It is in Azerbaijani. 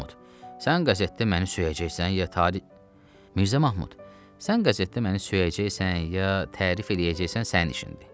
“Mirzə Mahmud, sən qəzetdə məni söyəcəksən, ya tərif eləyəcəksən sənin işindir.